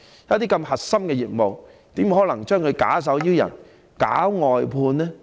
如此核心的業務，怎可以假手於人、搞外判呢？